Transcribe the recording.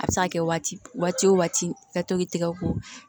A bɛ se ka kɛ waati wo waati ka tobi tɛgɛ ko